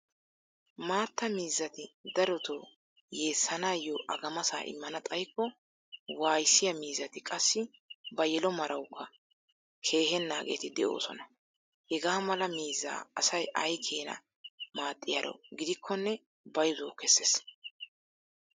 Maatta miizzati darotoo yeessanaayoo agamasaa immana xayikko waayissiyaa miizzati qassi ba yelo marawukka keehennaageeti de'oosona. Hegaa mala miizzaa asay ay keenaa maaxxiyaaro gidikkonne bayzuwawu kesses.